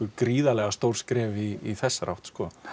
gríðarlega stór skref í þessari átt